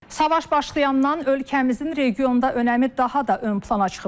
Savaş başlayandan ölkəmizin regionda önəmi daha da ön plana çıxıb.